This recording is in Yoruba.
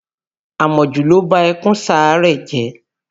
Àmọ̀jù ló ba ẹkùn Sáárẹ́ jẹ́